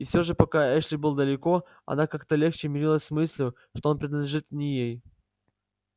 и все же пока эшли был далеко она как-то легче мирилась с мыслью что он принадлежит не ей